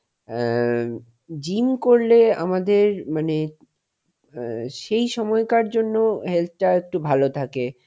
অ্যাঁ gym করলে আমাদের মানে অ্যাঁ সেই সময়কার জন্য health টা একটু ভালো থাকে,